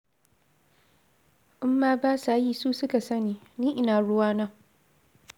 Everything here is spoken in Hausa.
In ma ba sa yi su suka sani, ni ina ruwana?